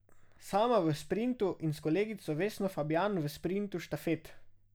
Sama v sprintu in s kolegico Vesno Fabjan v sprintu štafet.